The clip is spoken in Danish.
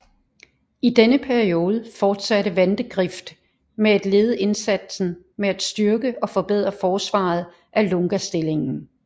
I denne periode fortsatte Vandegrift med at lede indsatsen med at styrke og forbedre forsvaret af Lungastillingen